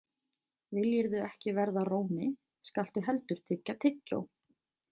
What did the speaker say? Viljirðu ekki verða róni, skaltu heldur tyggja tyggjó.